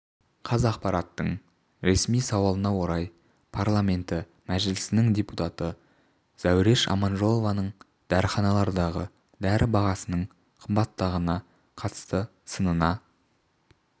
қазақпараттың ресми сауалына орай парламенті мәжілісінің депутаты зәуреш аманжолованың дәріханалардағы дәрі бағасының қымбаттығына қатысты сынына